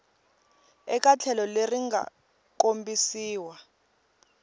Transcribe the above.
eka tlhelo leri nga kombisiwa